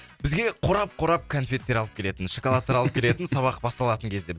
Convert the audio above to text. бізге қорап қорап конфеттер алып келетін шоколадтар алып келетін сабақ басталатын кезде